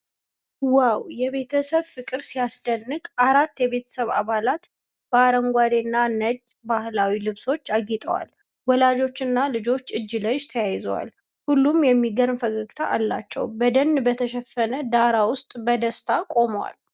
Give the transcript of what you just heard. ዋው! የቤተሰብ ፍቅር ሲያስደንቅ! አራት የቤተሰብ አባላት በአረንጓዴና ነጭ ባህላዊ ልብሶች አጊጠዋል። ወላጆችና ልጆች እጅ ለእጅ ተያይዘዋል። ሁሉም የሚገርም ፈገግታ አላቸው። በደን በተሸፈነ ዳራ ውስጥ በደስታ ቆመዋል።